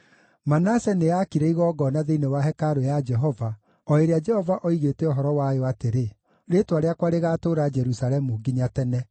Manase nĩaakire igongona thĩinĩ wa hekarũ ya Jehova, o ĩrĩa Jehova oigĩte ũhoro wayo atĩrĩ, “Rĩĩtwa rĩakwa rĩgaatũũra Jerusalemu nginya tene.”